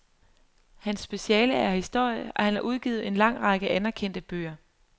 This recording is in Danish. Hans speciale er historie, og han har udgivet en lang række anerkendte bøger.